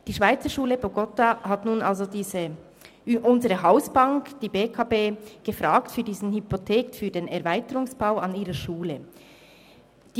Die Schweizerschule Bogotá hat nun also unsere Hausbank, die BEKB, wegen der Hypothek für den Erweiterungsbau ihrer Schule angefragt.